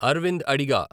అరవింద్ అడిగా